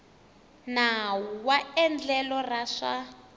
nawu wa endlelo ra swa